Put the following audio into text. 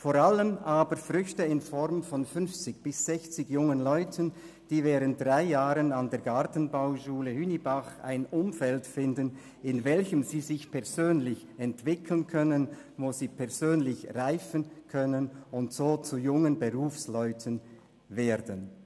Vor allem aber sind es Früchte in Form von 50 bis 60 jungen Leuten, die während drei Jahren an der Gartenbauschule Hünibach ein Umfeld finden, in welchem sie sich persönlich entwickeln können, wo sie persönlich reifen können und so zu jungen Berufsleuten werden.